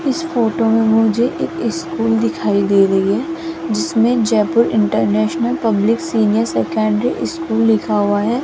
इस फोटो में मुझे एक स्कूल दिखाई दे रही है जिसमें Jaipur international public senior secondary school लिखा हुआ है।